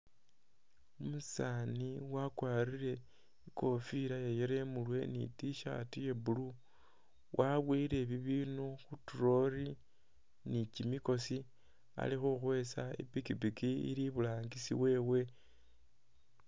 Umusani wakwarire ikofila iya yellow imurwe ni t-shirt ye blue wabuwele ibindu khu'trolly nikyimikosi ali khukwesa ni pikipiki ili iburangisi wewe